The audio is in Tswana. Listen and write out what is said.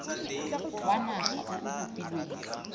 wa naga o o kopilweng